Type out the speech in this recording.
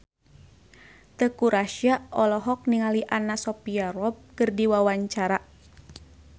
Teuku Rassya olohok ningali Anna Sophia Robb keur diwawancara